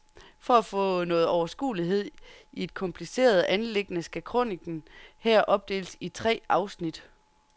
For at få nogen overskuelighed i et kompliceret anliggende skal kronikken her opdeles i tre afsnit.